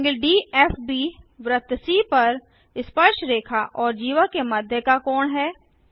∠DFB वृत्त सी पर स्पर्शरेखा और जीवा के मध्य का कोण है